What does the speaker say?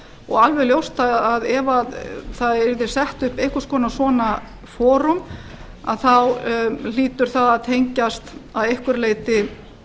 og alveg ljóst að ef það yrði sett upp einhvers konar svona forum þá hlýtur það að tengjast að einhverju leyti